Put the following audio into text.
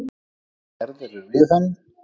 Hvað gerðirðu við hann!